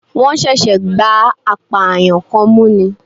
Wọ́n ṣẹ̀ṣẹ̀ gbá apààyàn kan mú ni